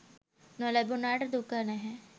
නොලැබුණාට දුක නැහැ.